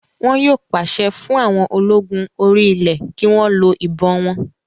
Wọn yóò pàṣẹ fún àwọn ológun orí ilẹ̀ kí wọ́n lo ìbọn wọn